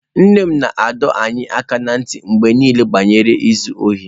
Nne m na-adọ anyị aka ná ntị mgbe niile banyere izu ohi.